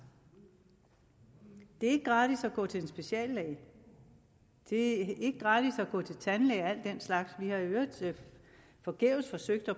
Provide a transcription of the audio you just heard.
det er ikke gratis at gå til speciallæge og det er ikke gratis at gå til tandlæge og al den slags vi har i øvrigt forgæves forsøgt at